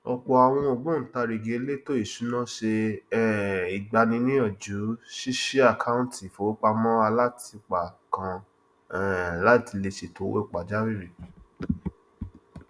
ọpọ àwọn ògbóntarìgì èlétò ìṣúná ṣe um ìgbaniníyànjú ṣíṣí àkántì ìfowópamọ alátìpa kan um láti lè ṣètò owó pàjáwírì